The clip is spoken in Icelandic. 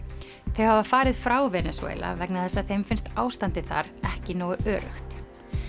þau hafa farið frá Venesúela vegna þess að þeim finnst ástandið þar ekki nógu öruggt